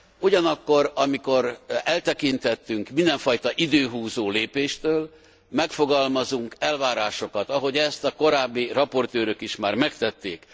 Ugyanakkor, amikor eltekintettünk mindenfajta időhúzó lépéstől, megfogalmazunk elvárásokat, ahogy ezt a korábbi raportőrök is már megtették.